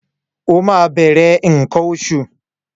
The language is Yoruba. O máa bẹ̀rẹ̀ nǹkan oṣù.